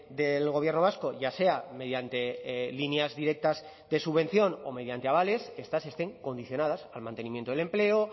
del gobierno vasco ya sea mediante líneas directas de subvención o mediante avales estas estén condicionadas al mantenimiento del empleo